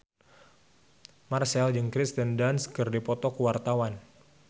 Marchell jeung Kirsten Dunst keur dipoto ku wartawan